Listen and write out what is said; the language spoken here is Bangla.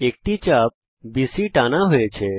একটি চাপ বিসি টানা হয়েছে